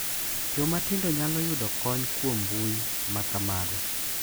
Joma tindo nyalo yudo kony kuom mbui ma kamago.